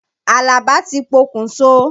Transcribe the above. Àlàbá ti pokùn so.